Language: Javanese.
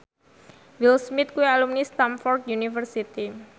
Will Smith kuwi alumni Stamford University